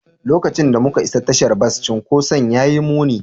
Lokacin da muka isa tashar bas, cunkoson ya yi muni.